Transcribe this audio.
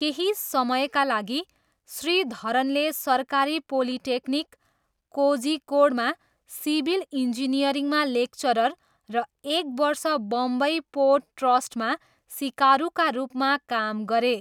केही समयका लागि श्रीधरनले सरकारी पोलिटेक्निक, कोझिकोडमा सिभिल इन्जिनियरिङमा लेक्चरर र एक वर्ष बम्बई पोर्ट ट्रस्टमा सिकारुका रूपमा काम गरे।